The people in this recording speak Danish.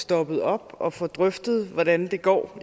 stoppet op og får drøftet hvordan det går